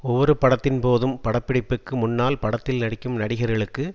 ஒவ்வொரு படத்தின்போதும் பட பிடிப்புக்கு முன்னால் படத்தில் நடிக்கும் நடிகர்களுக்கு